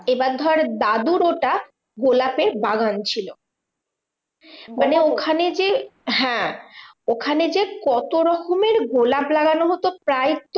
এবার ধর দাদুর ওটা গোলাপের বাগান ছিল। মানে ওখানে যে হ্যাঁ ওখানে যে, কত রকমের গোলাম লাগানো হতো প্রায় তো